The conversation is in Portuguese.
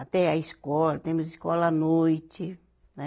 Até a escola, temos escola à noite, né?